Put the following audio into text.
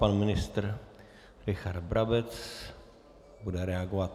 Pan ministr Richard Brabec bude reagovat.